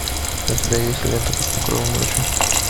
у тебя есть лента под покровом ночи